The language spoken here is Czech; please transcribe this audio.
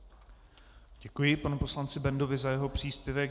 Děkuji panu poslanci Bendovi za jeho příspěvek.